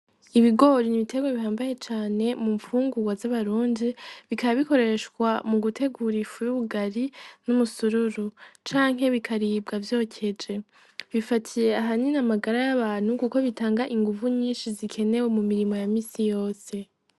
Ibigori n'ibitega bihambaye cane mu mpfungurwa z'abarundi, bikabikoreshwa mu gutegurifu y'ubugari n'umusururu canke bikaribwa vyokeje ,bifatiye aha nyina amagara y'abantu, kuko bitanga inguvu nyinshi zikenewe mu mirimo ya misi yose.